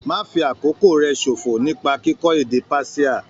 Má fi àkókò rẹ ṣòfò nípa kíkọ́ èdè Persia.